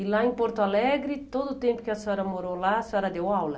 E lá em Porto Alegre, todo o tempo que a senhora morou lá, a senhora deu aula?